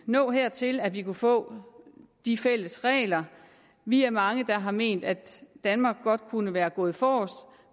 nå dertil at vi kunne få de fælles regler vi er mange der har ment at danmark godt kunne være gået forrest